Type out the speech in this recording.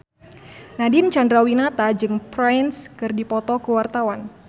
Nadine Chandrawinata jeung Prince keur dipoto ku wartawan